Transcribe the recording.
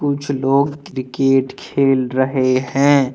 कुछ लोग क्रिकेट खेल रहे है।